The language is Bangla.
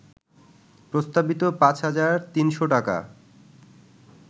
প্রস্তাবিত ৫ হাজার ৩০০ টাকা